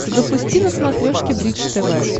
запусти на смотрешке бридж тв